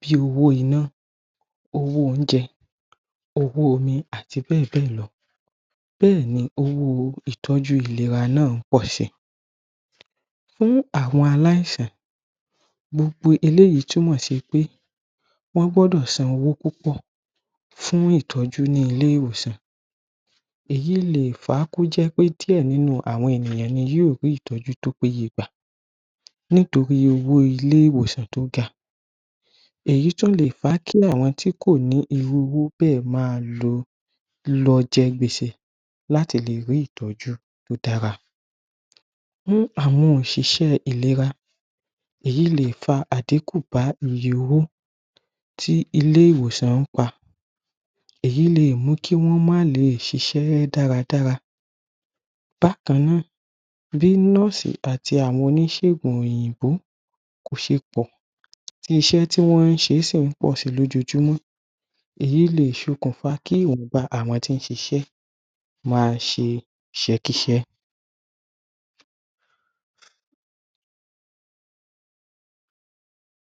bí owó iná owó oúnjẹ owó omi àti bẹẹ̀ bẹ́ẹ̀ lọ bẹẹ̀ni ni owó ìtọ́jú ìléra náà ń pọ̀si fún àwọn aláìsàn gbogbo eléyìí túmọ̀ sí wí pé wọ́n gbọ́dọ̀ san owó púpọ̀ fún ìtọ́jú ni ilé-ìwòsàn èyí le fà á kó jẹ́ pé díè nínú àwọn ènìyàn ní yóò rí ìtọ́jú tí ó péye gbà nítorí owó ilé-ìwòsàn tí ó ga èyí tún lè fà kí àwọn tí kò ní irú owó bẹ ma lọ lo jẹ gbèsè láti lè rí ìtọ́jú tí ó dára fún àwọn òṣìṣẹ́ ìléra èyí le fà àdíkùn bá iye owó tí ilé-ìwòsàn ń pa èyí lè mú kí wọ́n mán lè ṣiṣẹ́ dáradára bákan náà bí nóòsì àti àwọn oníṣègùn òyìnbó kò ṣe pọ̀ iṣẹ́ tí wọn ń ṣe ń pọ̀si lójojúmọ́ èyí le ṣẹ̀ okùnfà kí wòn a tí ń ṣiṣẹ́ ma ṣe iṣẹ́kíṣẹ́